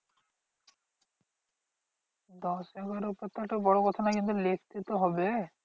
দশ এগারো পাতাটা বড় কথা নয় কিন্তু লিখতে তো হবে।